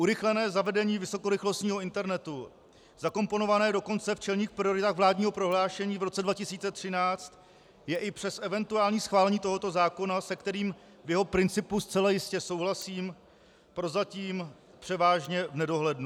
Urychlené zavedení vysokorychlostního internetu zakomponované dokonce v čelných prioritách vládního prohlášení v roce 2013 je i přes eventuální schválení tohoto zákona, se kterým v jeho principu zcela jistě souhlasím, prozatím převážně v nedohlednu.